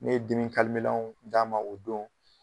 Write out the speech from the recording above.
Ne ye dimi lanw d'a ma o don